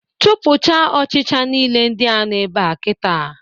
Chụpụcha ọchịcha nile ndịa nọ ebea kịta!